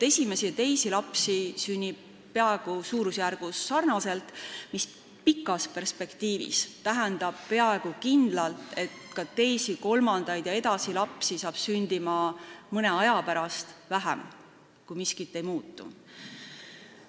Esimesi ja teisi lapsi sünnib samas suurusjärgus, mis pikas perspektiivis tähendab peaaegu kindlalt, et ka teisi, kolmandaid ja järgmisi lapsi hakkab mõne aja pärast vähem sündima, kui miskit ei muutu.